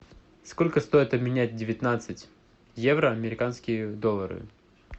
сколько стоит обменять девятнадцать евро в американские доллары